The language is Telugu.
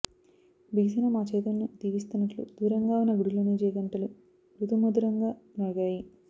బిగిసిన మా చేతులను దీవిస్తున్నట్లు దూరంగా ఉన్న గుడిలోని జే గంటలు మృదుమధురంగా మ్రోగాయి